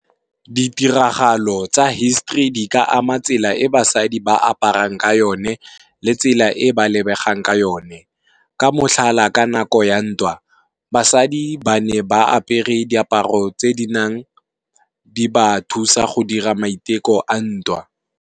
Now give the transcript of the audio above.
Ditiragalo tsa history di ka ama tsela e basadi ba aparang ka yone le tsela e ba lebegang ka yone. Ka motlhala ka nako ya ntwa, basadi ba ne ba apere diaparo tse di nang di ba thusa go dira maiteko a ntwa.